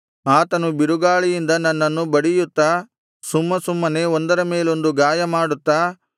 ಆತನು ಬಿರುಗಾಳಿಯಿಂದ ನನ್ನನ್ನು ಬಡಿಯುತ್ತಾ ಸುಮ್ಮಸುಮ್ಮನೆ ಒಂದರ ಮೇಲೊಂದು ಗಾಯಮಾಡುತ್ತಾ